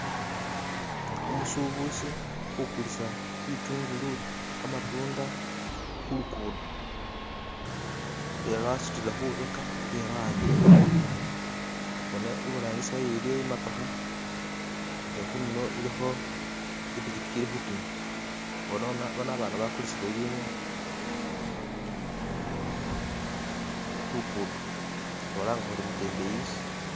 Umusubuzi ukulisa bitungulu khamatunda khulugudo bilala wasutilekhwibekha bilala wahambile mungono bona ibrangisi wayo iliyo imotokha ni khudulo ilikho ipichipichi ilikhutima onono abana bakulisile ibinu khulukuto khubalanga kuri mutembeyis